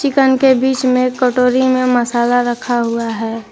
Chicken के बीच में कटोरी में मसाला रखा हुआ है।